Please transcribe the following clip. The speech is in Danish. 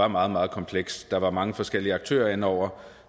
meget meget kompleks der var mange forskellige aktører inde over